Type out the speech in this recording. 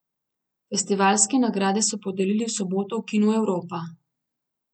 Festivalske nagrade so podelili v soboto v kinu Evropa.